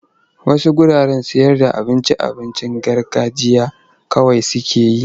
Wasu wuraren sayarda abincin abincin garganjiya kawai suke yi.